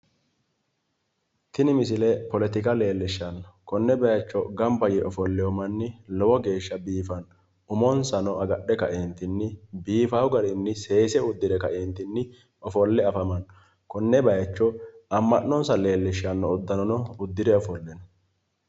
Tini misile politika leellishshanno konne baayicho gamba yee ofollewo mannib lowo geeshsha biifanno, umonsano agadhe kae biifawo garinni seese uddire ofolle afamanno, konne bayiichono amma'nonsa leellishshanno uddanono udfire ofolle no